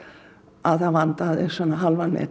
að það vantaði hálfan metra